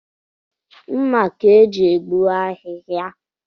Mma ka e ji egbuji ahịhịa